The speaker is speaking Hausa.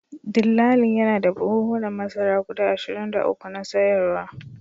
Dillalin yana da buhunan masara guda ashirin da uku na sayaruwa